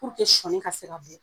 sɔɔni ka se ka bɔ